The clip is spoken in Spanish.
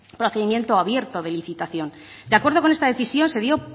procedimiento abierto de licitación de acuerdo con esta decisión se dio